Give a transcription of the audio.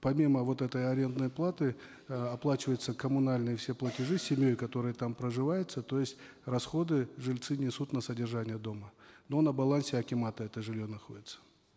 помимо вот этой арендной платы э оплачиваются коммунальные все платежи с семьей которые там проживают то есть расходы жильцы несут на содержание дома но на балансе акимата это жилье находится